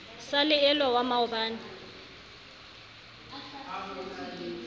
sa le elwa wa maoba